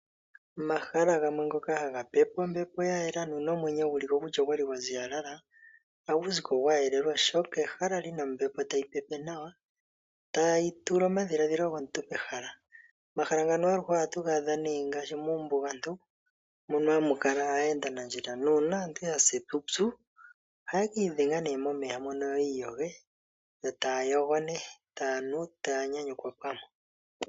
Omahala gamwe ngoka haga pepw ombepo ya yela ndele nomwenyo guliko o kutya ogwali gwa ziyalala hagu ziko gwa yela oshoka ehala lina ombepo tayi pepe nawa tayi tula omadhilaadhilo gomuntu pehala. Omahala ngano aluhe ohatu ga adha ngaashi muumbugantu mono hamu kala aayendanandjila nuuna aantu ysa epupyu ohaya ki idhenga new momeya mono yo yi iyoge yo taya yo nee, tayanu taya nyanyukwa pamwe .